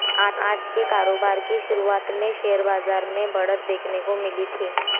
आज को कारोबार की शुरुआत में शेयर बाजार में बढ़त देखने को मिली थी